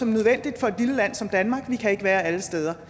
nødvendigt for et lille land som danmark vi kan ikke være alle steder